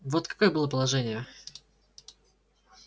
вот какое было положение